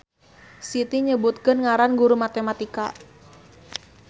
Siti nyebutkeun ngaran guru matematika